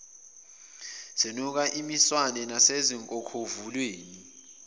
zinuka imiswane nasezinkokhovuleni